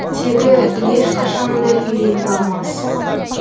тегі ешқашан да үйлене алмас